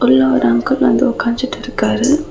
உள்ள ஒரு அங்கிள் வந்து உக்காஞ்சிட்டு இருக்காரு.